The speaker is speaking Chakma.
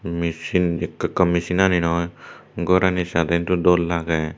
mecine ikka ikka mecine ani noi gor ani sade do dol lage.